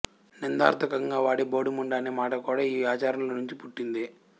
నిందార్థకంగా వాడే బోడి ముండ అనే మాట కూడా ఈ ఆచారంలో నుంచి పుట్టిందే